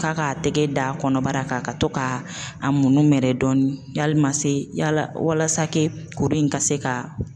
K'a k'a tɛgɛ da kɔnɔbara kan ka to ka a munumɛrɛ dɔɔni yali ma se yala walasa kuru in ka se ka